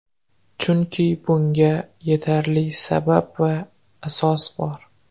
Chunki bunga yetarli sabab va asos bor.